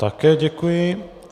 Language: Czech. Také děkuji.